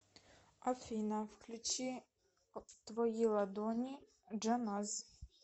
афина включи твои ладони джаназ